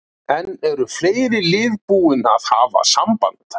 En eru fleiri lið búin að hafa samband?